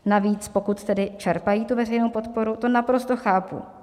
Navíc pokud tedy čerpají tu veřejnou podporu, to naprosto chápu.